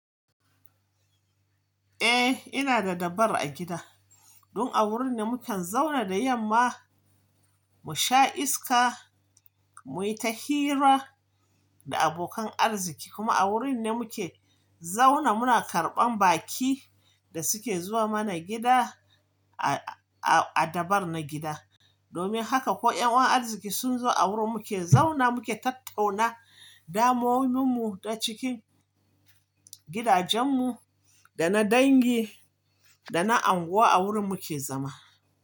Eh, ina da dabar a gida. Don a wurin ne mu ke zauna da yamma, mu sha iska, mu yi ta hira da abokan arziki kuma a wurin ne mu ke zauna muna karɓan baƙi da suke zuwa mana gida a, a, a dabar na gida. Domin haka ko 'yan uwan arziki sun zo a wurin mu ke zauna, mu ke tattauna damomun mu ta cikin gidajen mu da na dangi da na anguwa a wurin mu ke zama.